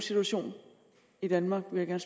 situation i danmark vil jeg